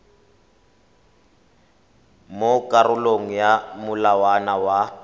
mo karolong ya molawana wa